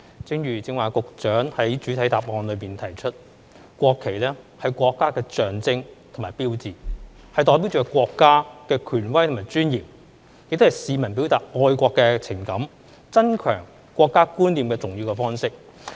正如局長剛才在主體答覆中提到，"國旗是國家的象徵和標誌，代表着國家的權威和尊嚴，亦是市民表達愛國情感、增強國家觀念的重要方式"。